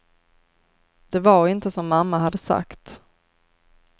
Det var inte som mamma hade sagt.